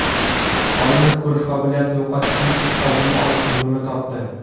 Olimlar ko‘rish qobiliyatini yo‘qotishning oldini olish yo‘lini topdi.